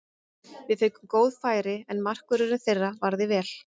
Við fengum góð færi, en markvörðurinn þeirra varði vel.